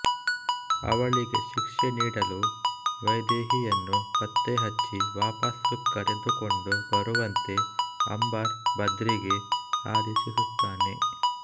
ಅವಳಿಗೆ ಶಿಕ್ಷೆ ನೀಡಲು ವೈದೇಹಿಯನ್ನು ಪತ್ತೆಹಚ್ಚಿ ವಾಪಸು ಕರೆದುಕೊಂಡು ಬರುವಂತೆ ಅಂಬರ್ ಬದ್ರಿಗೆ ಆದೇಶಿಸುತ್ತಾನೆ